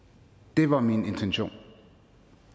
det var min intention